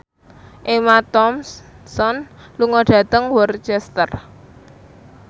Emma Thompson lunga dhateng Worcester